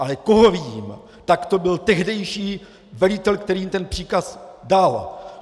Ale koho viním, tak to byl tehdejší velitel, který jim ten příkaz dal!